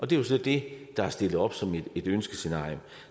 det er så det der er stillet op som et ønskescenarium